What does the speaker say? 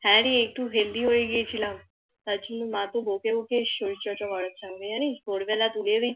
হ্যাঁ রে একটু Healthy হয়ে গিয়েছিলাম তার জন্য মা খুব বোকে বোকে শরীর চর্চা করাচ্ছে আমাকে জানিস ভোর বেলা তুলে